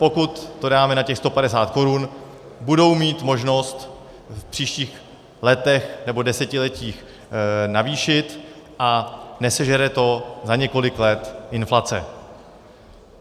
Pokud to dáme na těch 150 korun, budou mít možnost v příštích letech nebo desetiletích navýšit a nesežere to za několik let inflace.